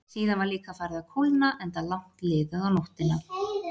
Síðan var líka farið að kólna, enda langt liðið á nóttina.